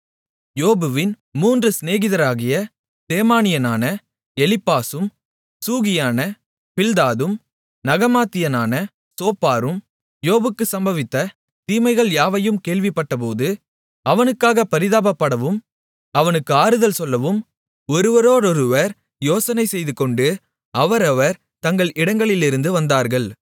யோபுவின் மூன்று சிநேகிதராகிய தேமானியனான எலிப்பாசும் சூகியனான பில்தாதும் நாகமாத்தியனான சோப்பாரும் யோபுக்கு சம்பவித்த தீமைகள் யாவையும் கேள்விப்பட்டபோது அவனுக்காகப் பரிதாபப்படவும் அவனுக்கு ஆறுதல் சொல்லவும் ஒருவரோடொருவர் யோசனை செய்துகொண்டு அவரவர் தங்கள் இடங்களிலிருந்து வந்தார்கள்